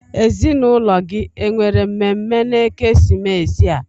Ezinụlọ gị o nwere mmemme na-ekesimeesi a?